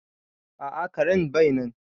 A'a karen bai nan